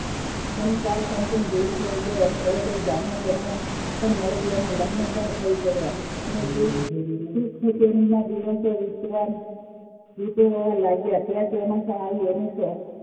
અને કે તેવી થઇ ગઈ અને તેને ગ્રામીણ કન્યા પણ મળી ગઈ અને લગન પણ થઇ ગયા અને ખૂશખૂશાલી માં દિવસો વીતવા લાગ્યા અચાનક ત્યાં ત્યાં